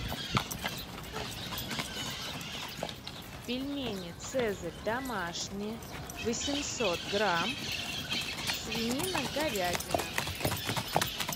пельмени цезарь домашние восемьсот грамм свинина говядина